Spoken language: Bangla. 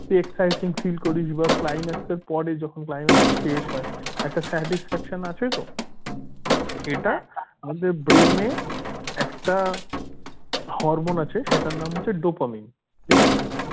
তুই exciting feel করিস বা climax এর পরে যখন climax টা শেষ হয় একটা satisfaction আছে তো এটা আমাদের brain এ একটা hormone আছে সেটার নাম হচ্ছে dopamine ঠিক আছে